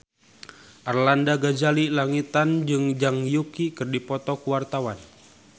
Arlanda Ghazali Langitan jeung Zhang Yuqi keur dipoto ku wartawan